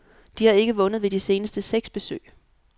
De har ikke vundet ved de seneste seks besøg.